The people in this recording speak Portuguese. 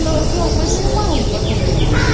Falei O senhor, mais nenhum maluco vai pôr lixo aqui.